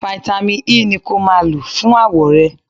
Fáítámì E ni kó máa lọ fún àwọ̀ rẹ.